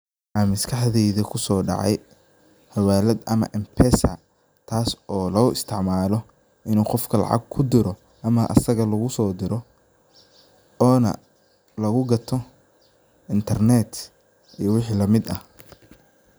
waxa maskaxdeida kuso dacay xawalad ama mpesa tas oo lo istacmalo inu qofka lacag kudiro ama asaka lagusodiro ona lagu gato internet iyo wixi lamid ah